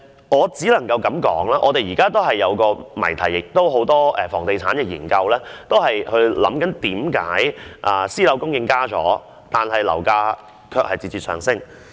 我只可以說，現在出現了一個有關房地產研究的謎題：為何私樓供應增加了，樓價卻節節上升？